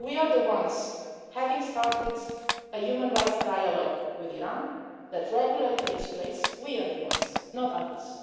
cases. We are the ones who have started a human rights dialogue with Iran that regularly takes place. We are the ones, not